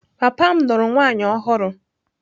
Papa m lụrụ nwunye ọhụrụ.